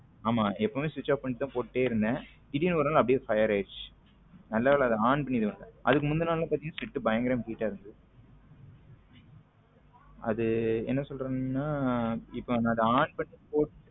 ஆமா எப்பவும switch off பண்ணி போட்டுட்டே இருந்தேன் திடீர்னு ஒரு நாள் அப்படியே fire ஆயிடுச்சு நல்ல வேலை அதை ஆன் பண்ணி இருகால அதுக்கு முந்துன நாள் பாத்திங்கன பயங்கர heat ஆ இருந்தது அது என்ன சொல்றதுன்னா இப்போ நான் அதை on பண்ணி போட்டு.